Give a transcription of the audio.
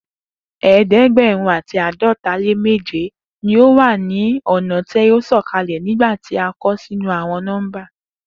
eedegberun ati aadọta le meje ni o wa ni ọna ti o sọkalẹ nigbati a kọ sinu awọn nọmba